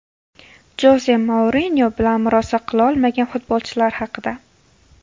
Joze Mourinyo bilan murosa qilolmagan futbolchilar haqida.